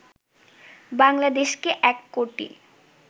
বাংলাদেশকে ১ কোটি